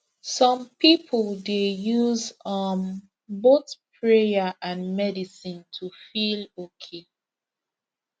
some people dey use um both prayer and medicine to feel okay